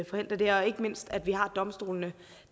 forhindre det og ikke mindst at vi har domstolene